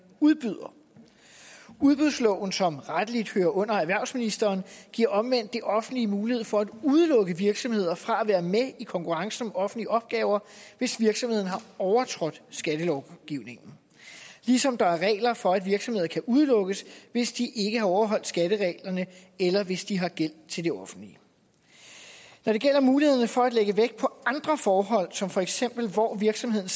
udbyder udbudsloven som rettelig hører under erhvervsministeren giver omvendt det offentlige mulighed for at udelukke virksomheder fra at være med i konkurrencen om offentlige opgaver hvis virksomheden har overtrådt skattelovgivningen ligesom der er regler for at virksomheder kan udelukkes hvis de ikke har overholdt skattereglerne eller hvis de har gæld til det offentlige når det gælder mulighederne for at lægge vægt på andre forhold som for eksempel hvor virksomheden